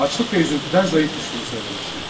Açlıq və üzüntüdən zəif düşdüyünü söyləmişdi.